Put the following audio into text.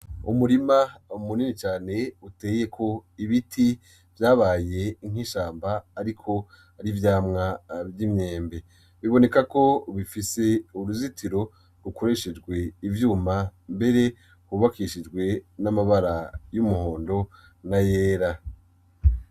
Umurima munini cane uteyeko ibiti vyabaye nk'ishamba ariko ari ivyamwa vy'imyembe. Biboneka ko bifise uruzitiro rukoreshejwe ivyuma mbere hubakishijwe n'amabara y'umuhondo na yera.